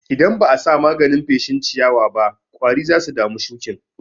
Idan ba'a sa maganin feshin ciyawaba ƙwari zasu dami shuƙin.